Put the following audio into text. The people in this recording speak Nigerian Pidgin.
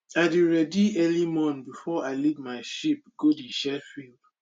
i dey ready early morn before i lead my my sheep go the shared field